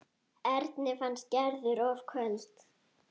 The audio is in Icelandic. Erni fannst Gerður of köld.